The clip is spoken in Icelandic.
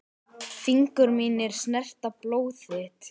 Fingur mínir snerta blóð þitt.